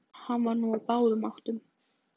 Hann var nú á báðum áttum.